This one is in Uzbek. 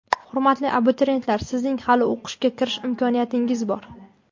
Hurmatli abituriyentlar, sizning hali o‘qishga kirish imkoniyatingiz bor!.